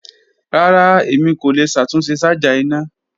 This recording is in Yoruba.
Rara, Emi ko le ṣatunṣe ṣaja ina.